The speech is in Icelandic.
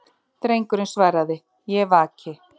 Drengurinn svaraði:-Ég vaki.